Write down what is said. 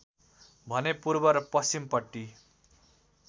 भने पूर्व र पश्चिमपट्टि